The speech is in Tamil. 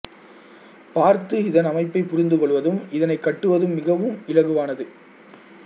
பார்த்து இதன் அமைப்பைப் புரிந்து கொள்வதும் இதனைக் கட்டுவதும் மிகவும் இலகுவானது